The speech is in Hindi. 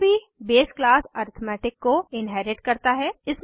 यह भी बेस क्लास अरिथमेटिक को इन्हेरिट करता है